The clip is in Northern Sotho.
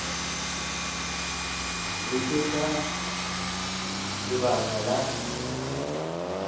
re ke ka lebaka la